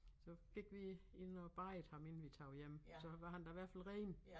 Så gik vi ind og badede ham inden vi tog hjem så var han da i hvert fald ren